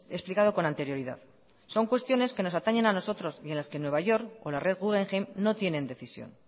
explicado con anterioridad son cuestiones que nos atañen a nosotros y de las que nueva york o la red guggenheim no tienen decisión